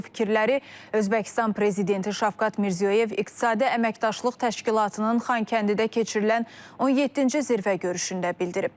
Bu fikirləri Özbəkistan prezidenti Şavkat Mirziyoyev iqtisadi əməkdaşlıq təşkilatının Xankəndidə keçirilən 17-ci zirvə görüşündə bildirib.